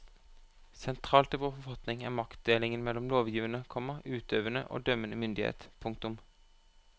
Sentralt i vår forfatning er maktdelingen mellom lovgivende, komma utøvende og dømmende myndighet. punktum